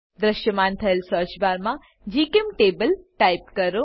દ્રશ્યમાન થયેલ સર્ચ બારમાં જીચેમ્ટેબલ ટાઈપ કરો